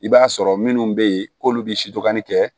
I b'a sɔrɔ minnu bɛ yen k'olu bɛ sidokanni kɛ